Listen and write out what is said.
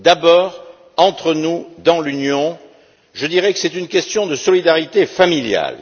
D'abord, entre nous, dans l'Union, je dirais que c'est une question de solidarité familiale.